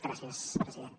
gràcies president